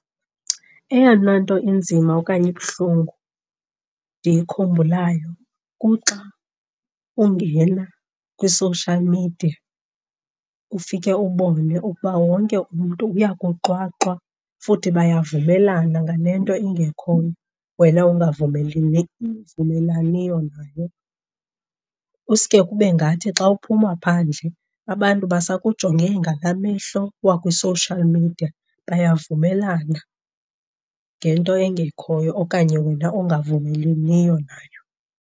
Eyona nto inzima okanye ibuhlungu ndiyikhumbulayo kuxa ungena kwi-social media ufike ubone ukuba wonke umntu uyakuxwaxwa futhi bayavumelana ngale nto ingekhoyo wena nayo. Uske kube ngathi xa uphuma phandle abantu basakujonge ngalaa mehlo wakwi-social media, bayavumelana ngento engekhoyo okanye wena ongavumelaniyo nayo.